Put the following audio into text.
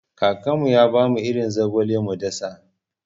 Kakana ya bamu irin zogale mu dasa.